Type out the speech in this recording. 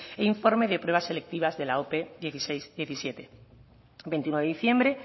e informe de pruebas selectivas de la ope hamasei hamazazpi veintiuno de diciembre